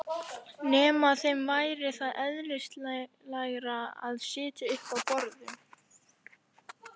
Nema þeim væri það eðlislægara að sitja uppi á borðum?